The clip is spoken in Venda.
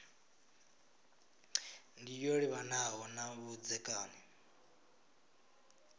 ndi yo livhanaho na vhudzekani